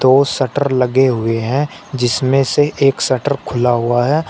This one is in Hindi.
दो शटर लगे हुए हैं जिसमें से एक शटर खुला हुआ है।